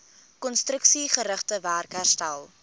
konstruksiegerigte werk herstel